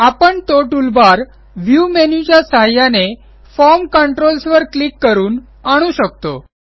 आपण तो toolbar view menu च्या सहाय्याने फॉर्म कंट्रोल्स वर क्लिक करून आणू शकतो